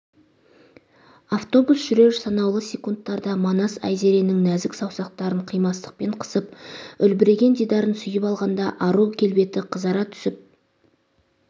автобус жүрер санаулы секундтарда манас айзеренің нәзік саусақтарын қимастықпен қысып үлбіреген дидарын сүйіп алғанда ару келбеті қызара түсіп